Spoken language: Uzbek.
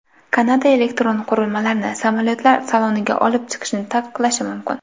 Kanada elektron qurilmalarni samolyotlar saloniga olib chiqishni taqiqlashi mumkin.